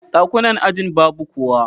Dakunan ajin babu kowa.